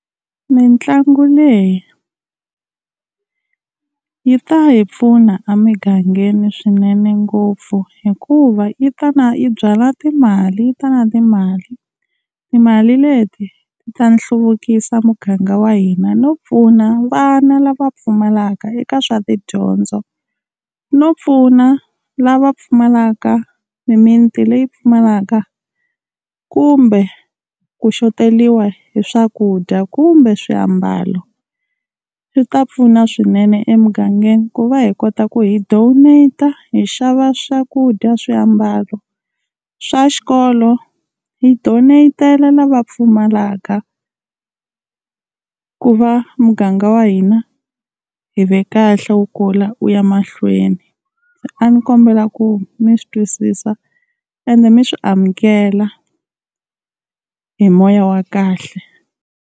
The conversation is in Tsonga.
Mitlangu leyi yi ta hi pfuna emigangeni swinene ngopfu, hikuva yi ta na yi byala timali yi ta na timali. Timali leti ta ta hluvukisa muganga wa hina no pfuna vana lava pfumalaka eka swa tidyondzo, no pfuna lava pfumalaka mimiti leyi pfumalaka kumbe ku xoteriwa hi swakudya, kumbe swiambalo. Swi ta pfuna swinene emugangeni ku va hi kota ku hi donete-a hi xava swakudya, swiambalo swa xikolo hi donete-ela lava pfumalaka ku va muganga wa hina hi ve kahle wu kula wu ya mahlweni. A ni kombela ku mi swi twisisa ende mi swi amukela hi moya wa kahle.